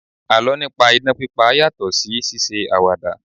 Àlọ́ nípa idán pípa yàtọ̀ sí ṣíṣe àwàdà